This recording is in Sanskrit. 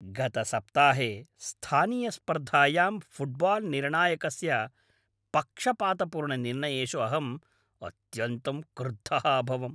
गतसप्ताहे स्थानीयस्पर्धायां फ़ुट्बाल्निर्णायकस्य पक्षपातपूर्णनिर्णयेषु अहम् अत्यन्तं क्रुद्धः अभवम्।